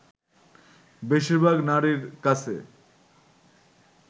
বেশিরভাগ নারীর কাছে